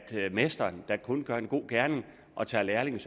mesteren der kun gør en god gerning og tager lærlinge